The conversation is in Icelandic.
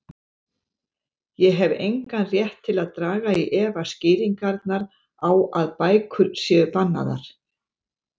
Ég hef engan rétt til að draga í efa skýringarnar á að bækur séu bannaðar.